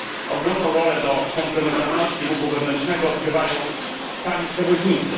Ogromną rolę dla komplementarności ruchu wewnętrznego odgrywają tani przewoźnicy.